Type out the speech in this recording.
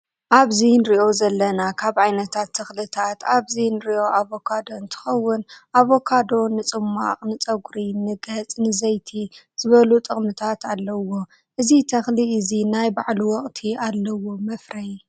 ኣብዚ እንሪኦ ዘለና ካብ ዓይነታት ተክልታት ኣብዚ እንሪኦ ኣቫካዶ እንትከው ኣቫካዶ ፅሟቅ፣ ንፀጉሪ፣ ንገፅ፣ ንዘይቲ ዝበሉ ጠቅምታት ኣለውዎ። እዚ ተክሊ እዚ ናይ ባዕሉ ወቅቲ ኣለዎ መፍረይ።